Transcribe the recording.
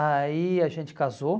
Aí a gente casou.